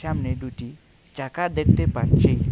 সামনে ডুইটি চাকা দেখতে পাচ্ছি।